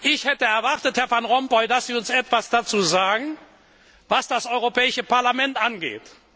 Ich hätte erwartet, Herr Van Rompuy, dass Sie uns etwas dazu sagen, was das Europäische Parlament angeht.